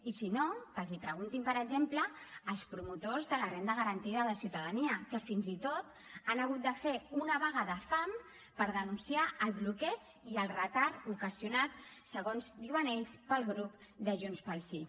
i si no que els ho preguntin per exemple als promotors de la renda garantida de ciutadania que fins i tot han hagut de fer una vaga de fam per denunciar el bloqueig i el retard ocasionat segons diuen ells pel grup de junts pel sí